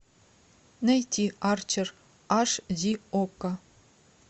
найти арчер аш ди окко